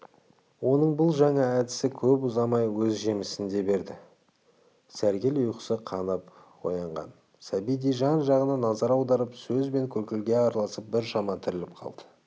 оның бұл жаңа әдісі көп ұзамай өз жемісін де берді сәргел ұйқысы қанып оянған сәбидей жан-жағына назар аударып сөз бен күлкіге араласып біршама тіріліп қалды